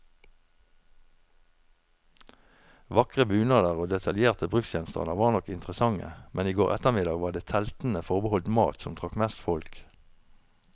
Vakre bunader og detaljerte bruksgjenstander var nok interessante, men i går ettermiddag var det teltene forbeholdt mat, som trakk mest folk.